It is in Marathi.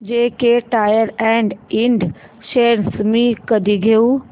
जेके टायर अँड इंड शेअर्स मी कधी घेऊ